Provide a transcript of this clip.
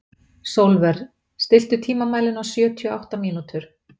Sólver, stilltu tímamælinn á sjötíu og átta mínútur.